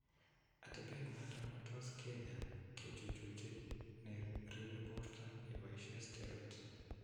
Atepet noton ko tos keny'aa kechuchuchi ne ribe borto keboisie steroids.